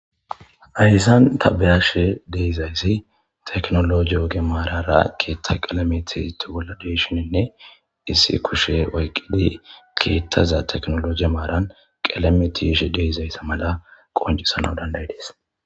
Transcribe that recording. ayssan tabeyashe deizayssi teknologi oge maarara keetta qelamiti to goladeshininne issi kushe oyqqidi keethtaza teknolo ge maaran qilamitishe deizaysse mala qoncisana danday dees